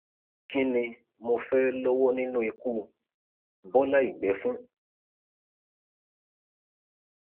kín ni mo fẹẹ lọwọ nínú ikú bọlá ìgbẹ fún